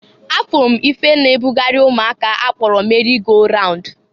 A furu m ife na-e bugarị ụmụaka a kpọrọ meri go raund.